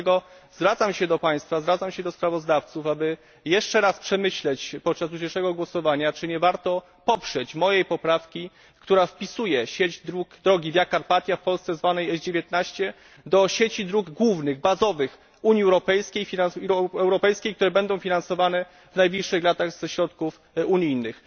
Dlatego zwracam się do Państwa, zwracam się do sprawozdawców, aby jeszcze raz przemyśleć podczas dzisiejszego głosowania, czy nie warto poprzeć mojej poprawki, która wpisuje drogę Via Carpatia w Polsce zwaną S 19 do sieci dróg głównych i bazowych Unii Europejskiej, które będą finansowane w najbliższych latach ze środków unijnych.